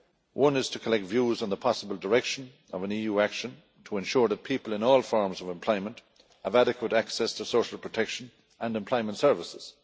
One is to collect views on the possible direction of an EU action to ensure that people in all forms of employment have adequate access to social protection and employment services.